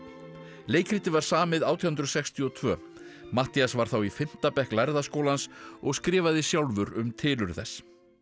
leikritið var samið átján hundruð sextíu og tvö Matthías var þá í fimmta bekk lærða skólans og skrifaði sjálfur um tilurð þess